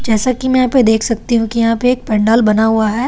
जैसा कि मैं यहां पे देख सकती हूं कि यहां पे एक पंडाल बना हुआ है।